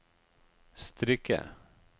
strikke